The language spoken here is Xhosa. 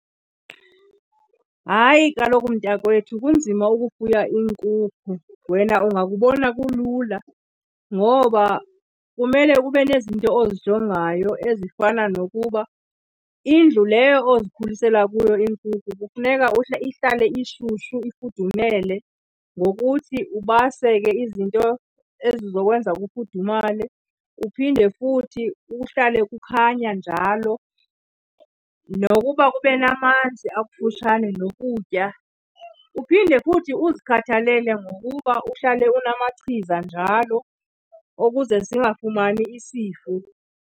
Hayi kaloku mntakwethu, kunzima ukufuya iinkukhu, wena ungakubona kulula. Ngoba kumele ube nezinto ozijongayo ezifana nokuba indlu leyo ozikhulisela kuyo iinkukhu kufuneka ihlale ishushu, ifudumele, ngokuthi ubase ke izinto ezizokwenza kufudumale. Kuphinde futhi kuhlale kukhanya njalo, nokuba kube namanzi akufutshane nokutya. Uphinde futhi uzikhathalele ngokuba uhlale unamachiza njalo ukuze zingafumani isifo.